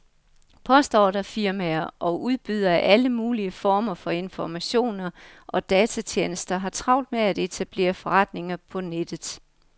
Postordrefirmaer og udbydere af alle mulige former for informationer og datatjenester har travlt med at etablere forretninger på nettet.